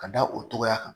Ka da o togoya kan